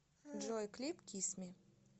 джой клип кис ми